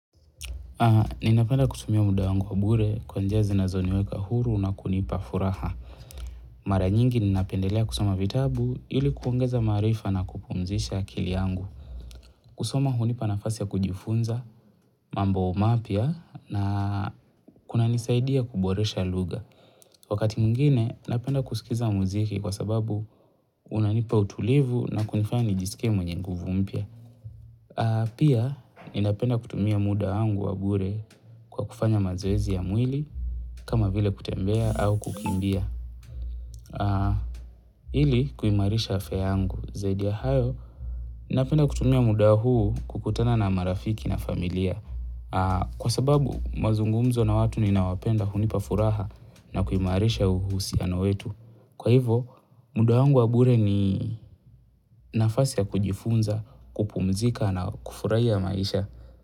Ninapenda kutumia muda angu wa bure kwa njazi na zoniweka huru na kunipa furaha. Mara nyingi ninapendelea kusoma vitabu ili kuongeza maarifa na kupumzisha kili angu. Kusoma hunipa nafasi ya kujifunza, mambo mapya na kuna nisaidia kuboresha lugha. Wakati mwingine, napenda kusikiza muziki kwa sababu unanipa utulivu na kunifanya nijisike mwenye nguvu mpia. Pia, ninapenda kutumia muda angu wa bure kwa kufanya mazoezi ya mwili. Kama vile kutembea au kukimbia. Hili kuimarisha afya yangu. Zaidia hayo, napenda kutumia muda huu kukutana na marafiki na familia. Kwa sababu, mazungumzo na watu ni nawapenda hunipafuraha na kuimarisha uhusia na wetu. Kwa hivo, muda wangu wa bure ni nafasi ya kujifunza, kupumzika na kufurahia ya maisha.